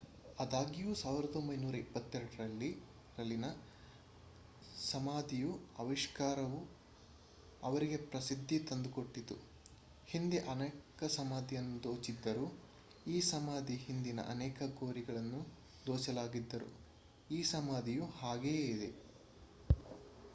ಆದಾಗ್ಯೂ 1922 ರಲ್ಲಿನ ಸಮಾಧಿಯ ಆವಿಷ್ಕಾರವು ಅವರಿಗೆ ಪ್ರಸಿದ್ದಿ ತಂದುಕೊಟ್ಟಿತು ಹಿಂದೆ ಅನೇಕ ಸಮಾಧಿಯನ್ನು ದೋಚಿದ್ದರೂ ಈ ಸಮಾಧಿ ಹಿಂದಿನ ಅನೇಕ ಗೋರಿಗಳನ್ನು ದೋಚಲಾಗಿದ್ದರೂ ಈ ಸಮಾಧಿಯು ಹಾಗೆಯೇ ಇದೆ